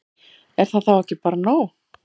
Er það þá ekki bara nóg?